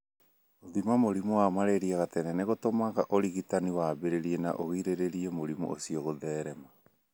Gũthima mũrimũ wa malaria gatene nĩ gũtũmaga ũrigitani wambĩrĩrie na ũgirĩrĩrie mũrimũ ũcio gũtherema.